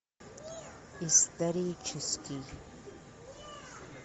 исторический